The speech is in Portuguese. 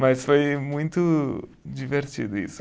Mas foi muito divertido isso.